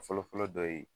Fɔlɔ fɔlɔ dɔ ye